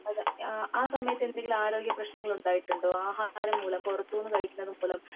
അഹ് ആ സമയത് എന്തെങ്കിലും ആരോഗ്യ പ്രശ്നങ്ങൾ ഉണ്ടായിട്ടുണ്ടോ ആഹാരം മൂലം പുറത്തൂന്ന് കഴിക്കുന്നത് മൂലം